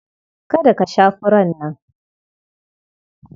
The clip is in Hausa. Kada ka sha furar nan!